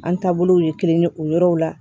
An taabolow ye kelen ye o yɔrɔw la